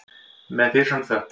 Með fyrir fram þökk.